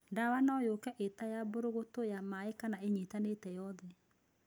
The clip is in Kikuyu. Ndawa no yoke ĩta ya mbũrũgũtũ, ya maĩ kana ĩnyitanĩte yothe.